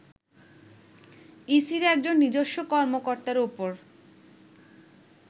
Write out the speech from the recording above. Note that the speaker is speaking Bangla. ইসির একজন নিজস্ব কর্মকর্তার ওপর